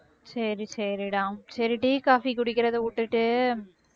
சரி சரிடா tea, coffee குடிக்கறதை விட்டுட்டு